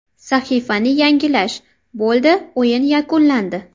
Sahifani yangilash Bo‘ldi o‘yin yakunlandi.